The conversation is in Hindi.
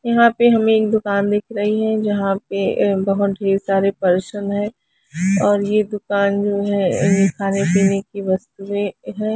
यहाँ पे हमे एक दुकान दिख रही है जहा पे ऐ बहोत ढेर सारे पर्सन है और ये दुकान जो है खाने पीने की वस्तुएं हैं।